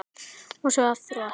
Og svo aftur og aftur.